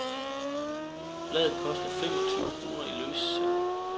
Bladet koster fem og tyve kroner i løssalg.